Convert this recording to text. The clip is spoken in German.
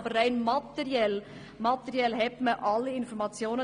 Aber rein materiell gesehen hat man alle Informationen.